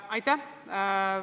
Aitäh!